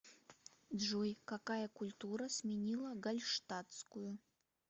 джой какая культура сменила гальштатскую